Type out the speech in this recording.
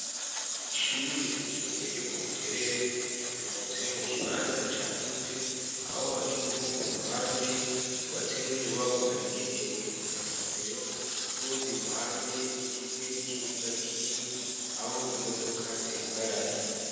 Ishure ryisumbeye ryo ku buterere ryubatse mu kibanza cyagutse aho hariho uruhande kubatse mu inyubako yagenewe amasomero n'urundi ruhande rwizwe n'ikibuga kinini aho imodoka zihagarara.